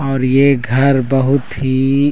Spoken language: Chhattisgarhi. और ये घर बहुत ही--